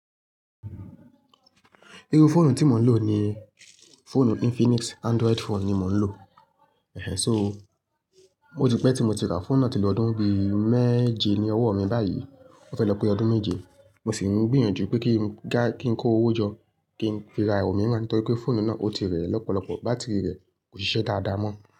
Irú fóònù tí mò ń lò ni fóònù Infinix, Android phone ni mò ń lò. Ehen. So ó ti pẹ́ tí mo ti ra fóònù náà tí lo ọ́dún bí mẹ́je ni ọwọ́ mi báyìí ó fẹ́ lọ pé ọdún méje. Mo sì ń gbìyànjú pé kí n, kí n kó owó jọ kí n fi ra òmíràn nítorí pé fóònù náà ó ti rẹ̀ lọ́pọ̀lọpọ̀, bátìrì rẹ̀ kò ṣiṣẹ́ dáadáa mọ́